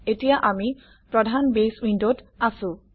এতিয়া আমি প্ৰধান বেছ উইণ্ডত আছোঁ